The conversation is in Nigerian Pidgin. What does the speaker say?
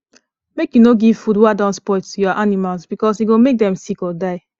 make u no give food wa don spoil to ur animals because e go make them sick or die